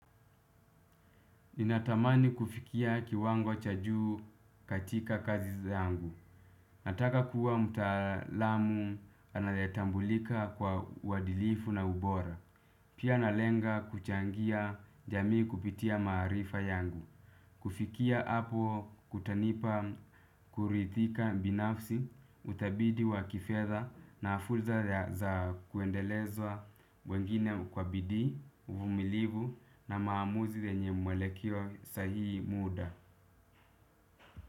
Ninatamani kufikia kiwango cha juu katika kazi zangu. Nataka kuwa mutaalamu anayetambulika kwa uwadilifu na ubora. Pia nalenga kuchangia jamii kupitia maarifa yangu. Kufikia hapo kutanipa kuridhika binafsi utafiti wa kifedha na fursa za kuendeleza wengine kwa bidii, uvumilivu na maamuzi zenye mwelekeo sahihi muda.